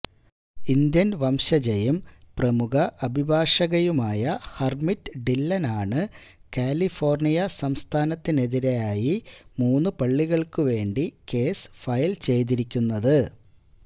Indian വംശജയും പ്രമുഖ അഭിഭാഷകയുമായ ഹര്മിറ്റ് ഡില്ലനാണ് കലിഫോര്ണിയാ സംസ്ഥാനത്തിനെതിരായി മൂന്നു പള്ളികള്ക്കു വേണ്ടി കേസ് ഫയല് ചെയ്തിരിക്കുന്നത്